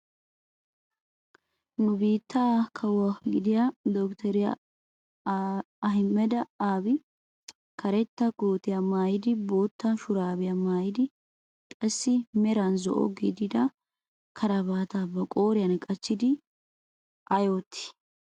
Nu biittee kawuwaa gidida dottoriyaa Ahumeda Abi karetta kootiyaa maayidi bootta shuraabiyaa maayidi qassi meran zo'o gidida karabaataa ba qooriyaan qachchidi ayi oottii?